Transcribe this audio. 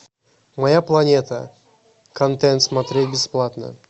моя планета контент смотреть бесплатно